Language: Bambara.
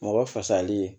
Mɔgɔ fasali